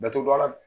Datugulan